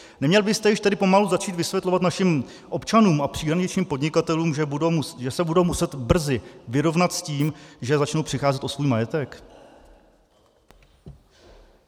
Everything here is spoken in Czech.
Neměl byste již tedy pomalu začít vysvětlovat našim občanům a příhraničním podnikatelům, že se budou muset brzy vyrovnat s tím, že začnou přicházet o svůj majetek?